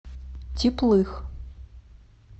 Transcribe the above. теплых